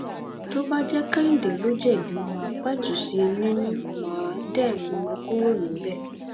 tó bá jẹ kehinde ló jẹbi má a pẹtù sí i nínú má a dé mú un kúrò níbẹ